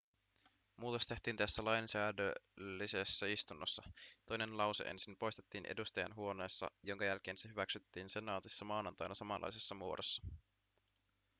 muutos tehtiin tässä lainsäädännöllisessä istunnossa toinen lause ensin poistettiin edustajainhuoneessa jonka jälkeen se hyväksyttiin senaatissa maanantaina samanlaisessa muodossa